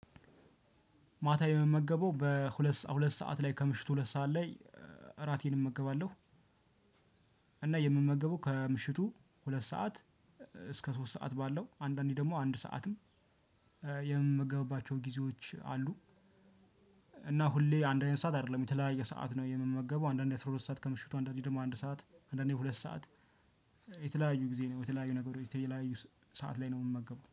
ማታ የምመገበው በሁለት ሰዓት ላይ ከምሽቱ ሁለት ሰዓት ላይ እራቴን እመገባለሁ። የምመገበው ከምሽቱ ሁለት ሰዓት እስከ ሶስት ሰዓት ባለው አንዳንዴ ደግሞ አንድ ሰዓትም የምመገብባቸው ጊዜዎች አሉ። እና ሁሌ አንድ አይነት ሰዓት አይደለም የተለያየ ሰዓት ነው የምመገበው አንዳንዴ አስራ ሁለት ሰዓት ከምሽቱ አንዳንዴ ደግሞ አንድ ሰዓት አንዳንዴ ሁለት ሰዓት። የተለያዩ ጊዜ ነው የተለያዩ ነገሮች የተለያዩ ሰዓት ላይ ነው የምመገበው